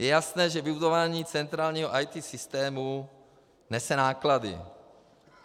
Je jasné, že vybudování centrálního IT systému nese náklady.